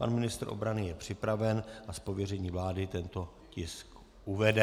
Pan ministr obrany je připraven a z pověření vlády tento tisk uvede.